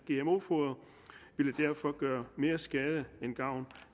derfor gøre mere skade end gavn